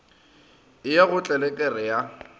e ya go tlelereke ya